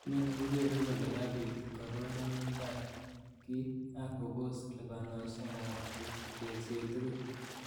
Inoni kokeere kole kabit kororonindab kit, ak kobos lipanosiek ab tekset tugul.